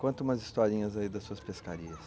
Conta umas historinhas aí das suas pescarias.